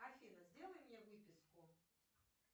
афина сделай мне выписку